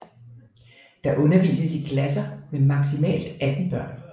Der undervises i klasser med maksimalt 18 børn